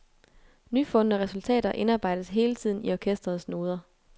Nyfundne resultater indarbejdes hele tiden i orkesterets noder.